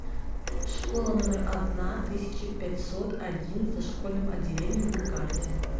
школа номер одна тысяча пятьсот один с дошкольным отделением на карте